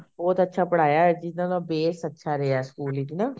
ਬਹੁਤ ਅੱਛਾ ਪੜ੍ਹਾਇਆ ਜਿਹਨਾ ਨਾਲ base ਅੱਛਾ ਰਿਹਾ ਸਕੂਲ ਵਿੱਚ ਨਾ